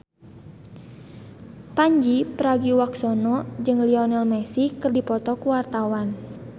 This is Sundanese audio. Pandji Pragiwaksono jeung Lionel Messi keur dipoto ku wartawan